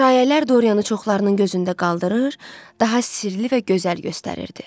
Şayiələr Dorianı çoxlarının gözündə qaldırır, daha sirli və gözəl göstərirdi.